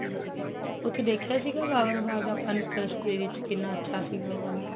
ਉਥੇ ਦੇਖਿਆ ਸੀਗਾ ਭਾਵਨਾ ਬਾਗ ਕਿੰਨਾ ਅੱਛਾ ਸੀਗਾ ਉਹ ਵਾਲਾ